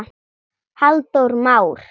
Halldór Már.